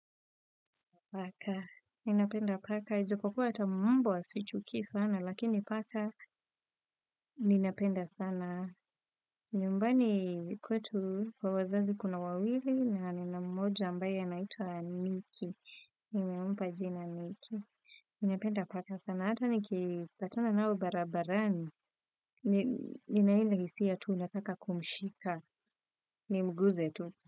Paka, ninapenda paka. Ijapokuwa hata mbwa sichukii sana, lakini paka, ninapenda sana. Nyumbani kwetu kwa wazazi kuna wawili, na nina mmoja ambaye anaitwa Niki. Nimempa jina nicki. Ninapenda paka sana. Hata nikipatana nao barabarani. Nina hile hisia tu nataka kumshika. Nimguze tu.